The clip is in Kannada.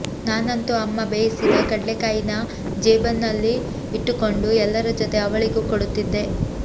ನಾನಂತು ಅಮ್ಮ ಬೇಯಿಸಿದ ಕಡ್ಲೆಕಾಯಿನ ಜೇಬಿನಲ್ಲಿ ಇಟ್ಟಕೊಂಡು ಎಲ್ಲರ ಜೊತೆ ಅವಳಿಗೂ ಕೊಡುತ್ತಿದ್ದೆ